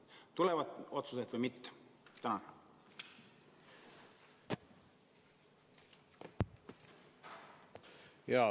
Kas tulevad otsused või mitte?